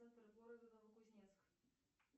центр города новокузнецк